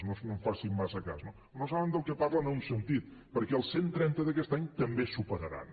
no en facin massa cas no però no saben del que parlen en un sentit perquè els cent i trenta d’aquest any també es superaran